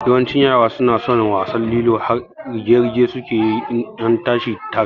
Yawancin yaran suna son wasan lilo har rige-rige suke yi in an tashi tara